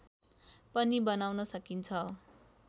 पनि बनाउन सकिन्छ